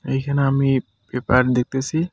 এইখানে আমি পেপার দেখতেসি।